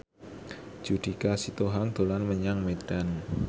Judika Sitohang dolan menyang Medan